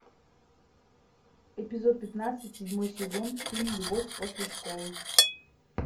эпизод пятнадцать седьмой сезон фильм любовь после школы